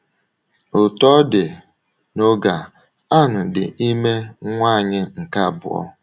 Otú ọ dị, n’oge a, Ann dị ime nwa anyị nke abụọ.